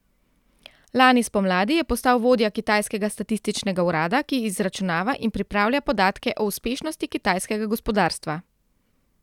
Lani spomladi je postal vodja kitajskega statističnega urada, ki izračunava in pripravlja podatke o uspešnosti kitajskega gospodarstva.